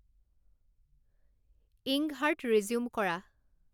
ইঙ্কহাৰ্ট resume কৰা